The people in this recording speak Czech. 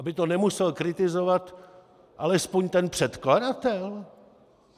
Aby to nemusel kritizovat alespoň ten předkladatel?